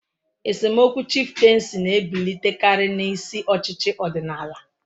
Esemokwu chifteensi na-ebilitekari n'isi ochichi odinala.